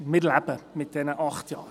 Wir leben mit diesen acht Jahren.